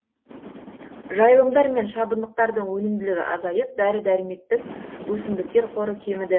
жайылымдар мен шабындықтардың өнімділігі азайып дәрі дәрмектік өсімдіктер қоры кеміді